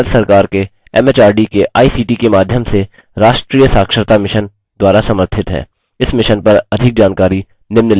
* भारत सरकार के एमएचआरडी के आईसीटी के माध्यम से राष्ट्रीय साक्षरता mission द्वारा समर्थित है